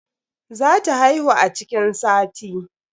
Za ta haihu a cikin sati.